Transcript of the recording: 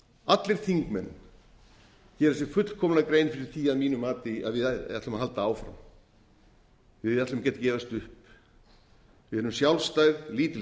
allir þingmenn gera sér fullkomlega grein fyrir því að mínu mati að við ætlum að halda áfram við ætlum ekki að gefast upp við erum sjálfstæð lítil þjóð